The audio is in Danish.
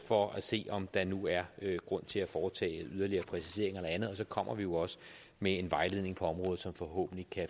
for at se om der nu er grund til at foretage yderligere præciseringer eller andet og så kommer vi jo også med en vejledning på området som forhåbentlig kan